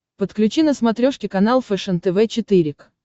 подключи на смотрешке канал фэшен тв четыре к